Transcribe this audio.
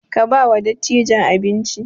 Ka ba wa dattijan abinci!